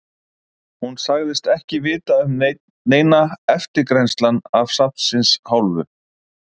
Hún sagðist ekki vita um neina eftirgrennslan af safnsins hálfu.